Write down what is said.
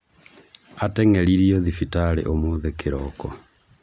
Ateng'eririo thibitari ũmũthĩ kĩroko